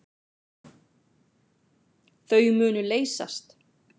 Þau munu leysast.